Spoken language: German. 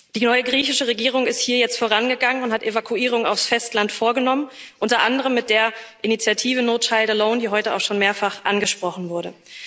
Die neue griechische Regierung ist hier jetzt vorangegangen und hat Evakuierungen aufs Festland vorgenommen unter anderem mit der Initiative die heute auch schon mehrfach angesprochen wurde.